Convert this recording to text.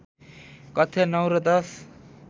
कक्षा ९ र १०